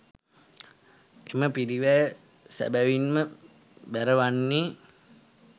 එම පිරිවැය සැබැවින්ම බැරවන්නේ